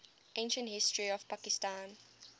ancient history of pakistan